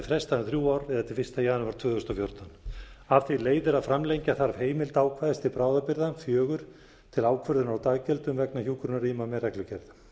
frestað um þrjú ár eða til fyrsta janúar tvö þúsund og fjórtán af því leiðir að framlengja þarf heimild ákvæðis til bráðabirgða fjórar til ákvörðunar á daggjöldum vegna hjúkrunarrýma með reglugerð